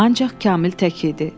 Ancaq Kamil tək idi.